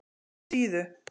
Síðu